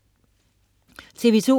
TV2: